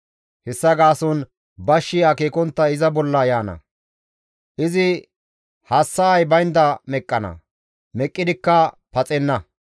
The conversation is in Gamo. Hessa gaason bashshi akeekontta iza bolla yaana; izi hassa7ay baynda meqqana; meqqidikka paxenna.